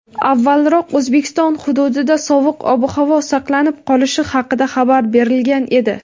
avvalroq O‘zbekiston hududida sovuq ob-havo saqlanib qolishi haqida xabar berilgan edi.